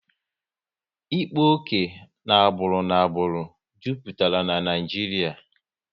Ịkpa oke na agbụrụ n'agbụrụ jupụtara Naijiria